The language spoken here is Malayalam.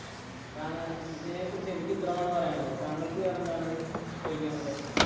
ഇതിനെ കുറിച്ച് എനിക്ക് ഇത്രയുമാണ് പറയാനുളളത് താങ്കൾക്ക് വേറെന്താണ് ചോദിക്കാനുള്ളത്?